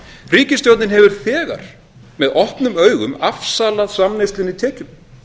ríkisstjórnin hefur þegar með opnum augum afsalað samneyslunni tekjum